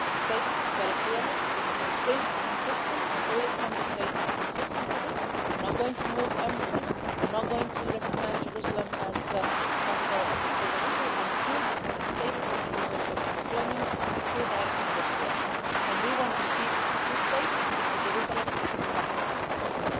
It states very clearly, it is consistent, and all its Member States are consistent with it we are not going to move embassies, we are not going to recognise Jerusalem as the capital of the State of Israel until the final status of Jerusalem is determined through direct negotiations, and we want to see two states where Jerusalem is the capital of both.